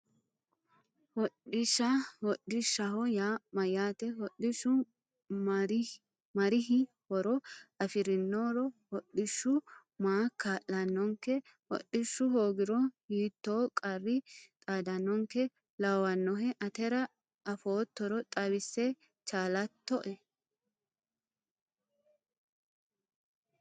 Hodhishsha hodhishshaho yaa mayyaate hodhishshu marihi horo afirino hodhishshu maa kaa'lannonke hodhishshu hoogiro hiittoo qarri xaadannonkeha lawannohe atera afoottoro xawisse chaalattoe